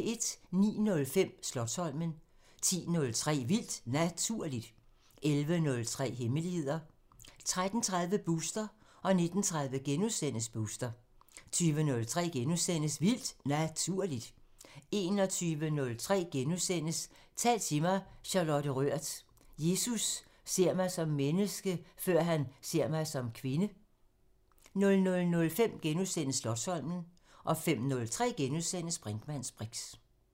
09:05: Slotsholmen 10:03: Vildt Naturligt 11:03: Hemmeligheder 13:30: Booster 19:30: Booster * 20:03: Vildt Naturligt * 21:03: Tal til mig – Charlotte Rørth: Jesus ser mig som menneske, før han ser mig som kvinde * 00:05: Slotsholmen * 05:03: Brinkmanns briks *